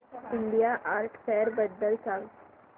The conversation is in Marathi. इंडिया आर्ट फेअर बद्दल सांग